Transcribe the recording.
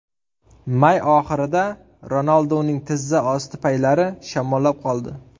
May oxirida Ronalduning tizza osti paylari shamollab qoldi.